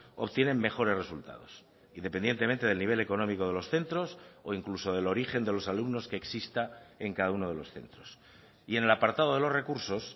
obtienen mejores resultados independientemente del nivel económico de los centros o incluso del origen de los alumnos que exista en cada uno de los centros y en el apartado de los recursos